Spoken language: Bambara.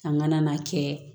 An kana n'a kɛ